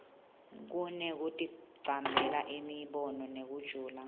kunekuticambela imibono inekujula